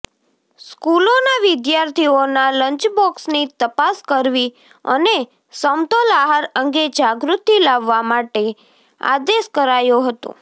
સ્કૂલોના વિદ્યાર્થીઓના લંચબોક્સની તપાસ કરવી અને સમતોલ આહાર અંગે જાગૃતિ લાવવા માટે આદેશ કરાયો હતો